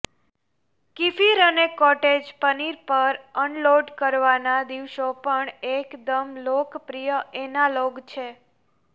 kefir અને cottage paneer પર unload કરવાના દિવસો પણ એકદમ લોકપ્રિય એનાલોગ છે